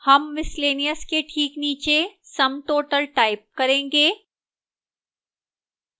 sum miscellaneous के ठीक नीचे sum total type करेंगे